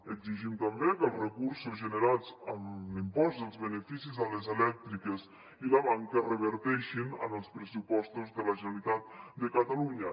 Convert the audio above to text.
exigim també que els recursos generats amb l’impost dels beneficis a les elèctriques i la banca reverteixin en els pressupostos de la generalitat de catalunya